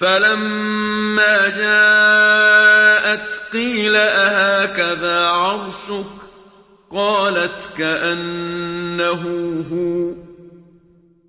فَلَمَّا جَاءَتْ قِيلَ أَهَٰكَذَا عَرْشُكِ ۖ قَالَتْ كَأَنَّهُ هُوَ ۚ